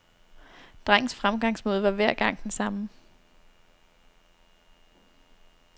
Drengens fremgangsmåde var hver gang den samme.